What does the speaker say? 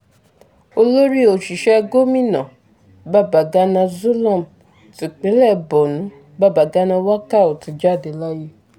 olórí òṣìṣẹ́ gòmìnà babàgana zulum tipinlẹ̀ borno babagana wakal ti jáde láyé